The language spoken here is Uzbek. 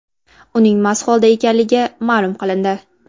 Uning mast holda ekanligi ma’lum qilindi.